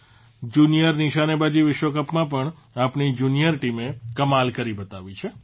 junior નિશાનેબાજી વિશ્વકપમાં પણ આપણી જુનિયર ટીમે કમાલ કરી બતાવી છે